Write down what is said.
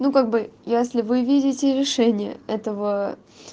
ну как бы если вы видите решение этого